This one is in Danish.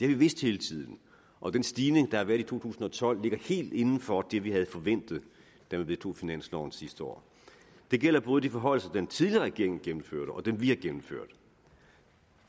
vi vidst hele tiden og den stigning der har været i to tusind og tolv ligger helt inden for det vi havde forventet da man vedtog finansloven sidste år det gælder både de forhøjelser den tidligere regering gennemførte og dem vi har gennemført